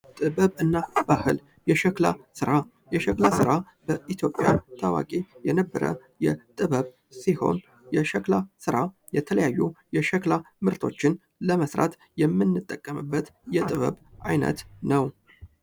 ጥበብ እና ባህል የሸክላ ስራ የሸክላ ስራ በኢትዮጵያ ታዋቂ የነበረ ጥበብ ሲሆን የሸክላ ስራ የተለያዩ የሸክላ ምርቶችን ለመስራት የምንጠቀምበት የጥበብ አይነት ነው።